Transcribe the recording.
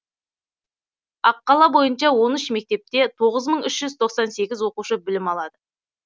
ал қала бойынша он үш мектепте тоғыз мың үш жүз тоқсан сегіз оқушы білім алады